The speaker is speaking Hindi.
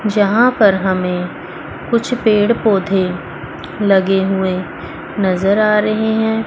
जहां पर हमें कुछ पेड़ पौधे लगे हुवे नजर आ रहे हैं।